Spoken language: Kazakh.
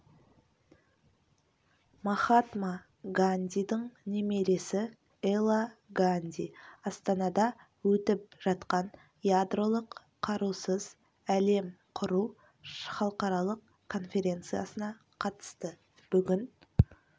махатма гандидің немересі эла ганди астанада өтіп жатқан ядролық қарусыз әлем құру халықаралық конференциясына қатысты бүгін